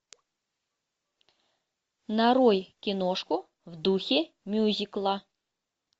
нарой киношку в духе мюзикла